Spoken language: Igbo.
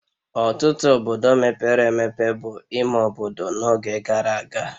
Ọtụtụ obodo mepere emepe bụ ime obodo n'oge gara aga